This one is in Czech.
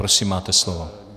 Prosím, máte slovo.